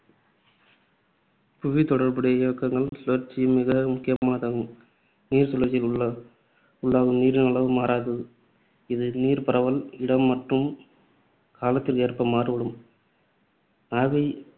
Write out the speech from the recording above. புவித்தொடர்புடைய இயக்கங்களுள் நீர்ச்சுழற்சி மிக முக்கியமானது. நீர்ச் சுழற்சியில் உள்ளாகும் நீரின் அளவு மாறாது. இது நீர்பரவல், இடம் மற்றும் காலத்திற்கு ஏற்ப மாறுபடும். ஆவி